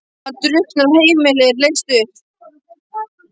Hann drukknar og heimilið er leyst upp.